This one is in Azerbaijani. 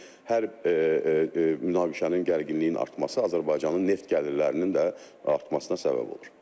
Yəni hər münaqişənin gərginliyinin artması Azərbaycanın neft gəlirlərinin də artmasına səbəb olur.